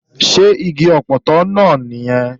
Ṣé igi ọpọtọ náà nìyẹn?